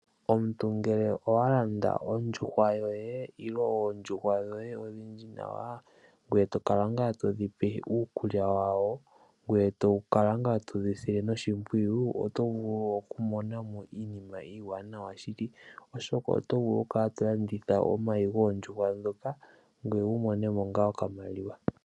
Ngele owa landa ondjuhwa yoye nenge oondjuhwa dhoye odhindji nawa ngoye to kala ngaa todhi pe iikulya yadho. Ngoye tokala ngaa todhi sile noshimpwiyu. Oto vulu okumona mo iinima iiwanawa shili. Oshoka oto vulu okukala to landitha omayi goondjuhwa ndhoka ngoye wu mone mo okamaliwa.